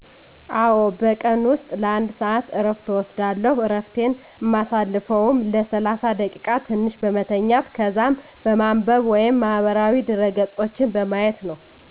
አወ በቀን ውስጥ ለ 1 ሰአት እረፍት እወስዳለሁ። እረፍቴን እማሳልፈውም ለ ሰላሳ ደቂቃ ትንሽ በመተኛት ከዛም በማንበብ ወይም ማህበራዊ ድረ ገፆችን በማየት ነው።